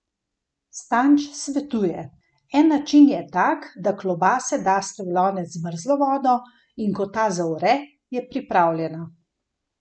Stanč svetuje: "En način je tak, da klobaso daste v lonec z mrzlo vodo, in ko ta zavre, je pripravljena.